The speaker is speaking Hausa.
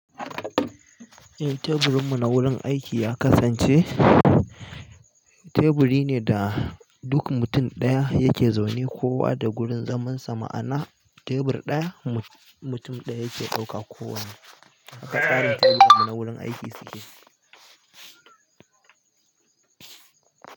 Eh, teburin mu na wurin aiki ya kasance, teburi ne da duk mutum ɗaya yake zaune kowa da wurin zaman sa. Ma'ana tebur ɗaya mutum ɗaya yake ɗauka ko wane. Haka ƙarin teburan mu na wurin aiki suke.